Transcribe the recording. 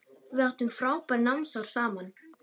Við áttum frábær námsár saman.